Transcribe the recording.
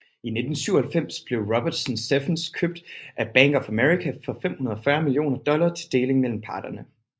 I 1997 blev Robertson Stephens købt af Bank of America for 540 millioner dollar til deling mellem partnere